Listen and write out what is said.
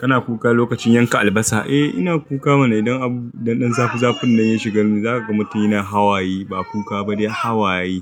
Kana kuka lokacin yanka albasa? Eh ina kuka mana idan abu, idan zafi, zafin nan ya shiga nu, zaka ga matun yina hawaye, ba kuka ba dai hawaye.